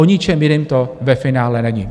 O ničem jiném to ve finále není.